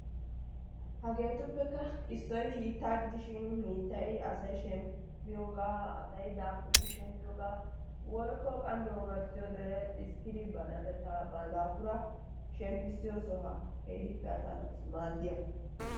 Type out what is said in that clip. Hageetuppekka issoyi hiittaa gidishin hiittayi asayi shemppiyoogaa asayi daafuridi shemppiyoogaa woykko qammi omarssiyode xiskkidi ba natettaa ba daafuraa shemppissiyosohaa keehippe asaa naatussi maaddiyaba.